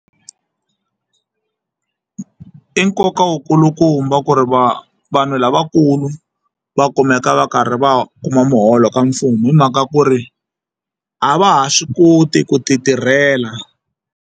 I nkoka wo kulukumba ku ri va vanhu lavakulu va kumeka va karhi va kuma muholo ka mfumo hi mhaka ku ri a va ha swi koti ku ti tirhela.